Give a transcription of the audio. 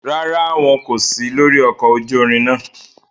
Ràrá, wọn ko si lori ọkọ ojú ìrin náà